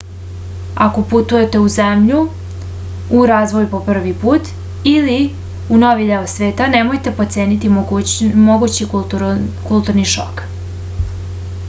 ako putujete u zemlju u razvoju po prvi put ili u novi deo sveta nemojte potceniti mogući kulturni šok